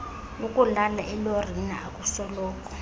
ukulala elorini akusoloko